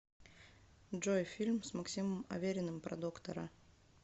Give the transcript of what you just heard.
джой фильм с максимом авериным про доктора